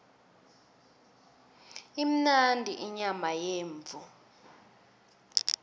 imnandi inyama yemvu